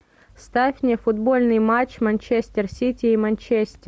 ставь мне футбольный матч манчестер сити и манчестер